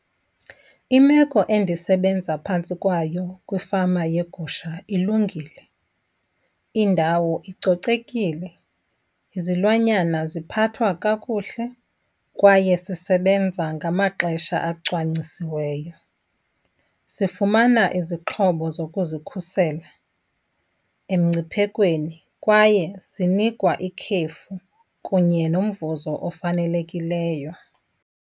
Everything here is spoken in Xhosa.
Imeko endisebenza phantsi kwayo kwifama yeegusha ilungile. Indawo icocekile, izilwanyana ziphathwa kakuhle kwaye sisebenza ngamaxesha acwangcisiweyo. Sifumana izixhobo zokuzikhusela emngciphekweni kwaye sinikwa ikhefu kunye nomvuzo ofanelekileyo.